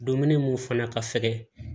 Dumuni mun fana ka fɛgɛn